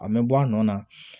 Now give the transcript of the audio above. A mɛ bɔ a nɔ na